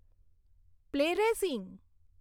play racing